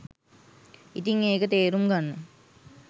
ඉතින් ඒක තේරුම් ගන්න